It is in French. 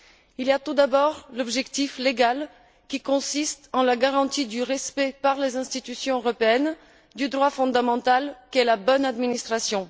Il y a tout d'abord l'objectif légal, qui consiste en la garantie du respect, par les institutions européennes, du droit fondamental qu'est la bonne administration.